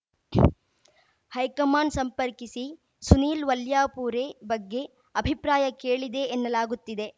high command ಸಂಪರ್ಕಿಸಿ ಸುನೀಲ್ ವಲ್ಯಾಪೂರೆ ಬಗ್ಗೆ ಅಭಿಪ್ರಾಯ ಕೇಳಿದೆ ಎನ್ನಲಾಗುತ್ತಿದೆ